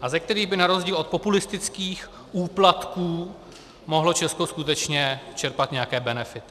a ze kterých by na rozdíl od populistických úplatků mohlo Česko skutečně čerpat nějaké benefity.